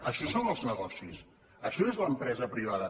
això són els negocis això és l’empresa privada